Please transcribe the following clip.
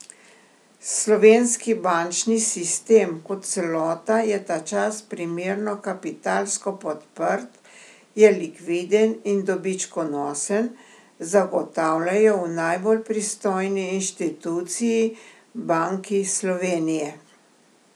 Slovenski bančni sistem kot celota je ta čas primerno kapitalsko podprt, je likviden in dobičkonosen, zagotavljajo v najbolj pristojni inštituciji, Banki Slovenije.